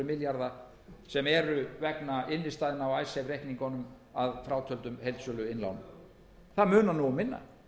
milljarða sem eru vegna innstæðna á icesave reikningunum að frátöldum heildsöluinnlánum það munar um minna